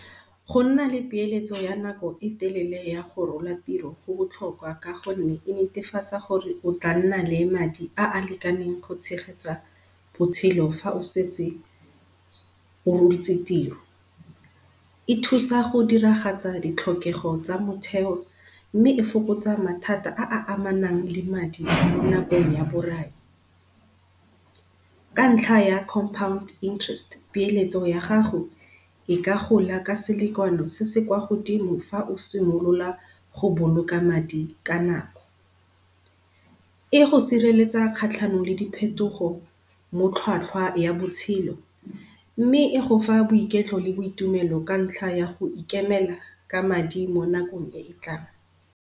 Go nna le peeletso ya nako e telele ya go rola tiro, go botlhokwa ka gonne e netefatsa gore o tla nna le madi a a lekaneng go tshegetsa botshelo fa o setse o rotse tiro. E thusa go diragatsa ditlhokego tsa motheo, mme e fokotsa mathata a a amanang le madi mo nakong ya borai. Ka ntlha ya compound interest peeletso ya gago, e ka gola ka selakano se se kwa godimo fa o simolola go boloka madi ka nako. E go sireletsa kgatlhanong le di phetogo mo tlhwatlhwa ya botshelo mme, e go fa boiketlo le boitumelo ka ntlha ya go ikemela ka madi mo nakong e e tlang.